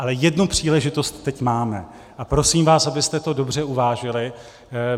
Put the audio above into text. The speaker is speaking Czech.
Ale jednu příležitost teď máme a prosím vás, abyste to dobře uvážili.